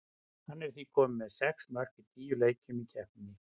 Hann er því kominn með sex mörk í níu leikjum í keppninni.